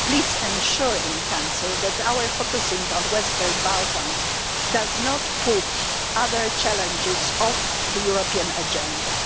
Please ensure in Council that our focusing on the Western Balkans does not take other challenges off the European agenda.